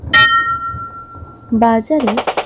বাজারে